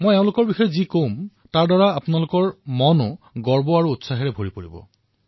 মই তেওঁলোকৰ বিষয়ে যি কম সেয়া শুনি আপোনালোকৰ হৃদয় আনন্দ আৰু গৌৰৱেৰে ভৰি পৰিব